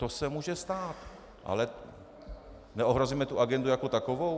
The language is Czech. To se může stát, ale neohrozíme tu agendu jako takovou?